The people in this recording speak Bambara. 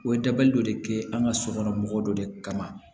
O ye dabali dɔ de ye an ka sokɔnɔ mɔgɔ dɔ de kama